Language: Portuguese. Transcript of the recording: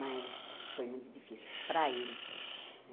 Mas foi muito difícil para ele, né?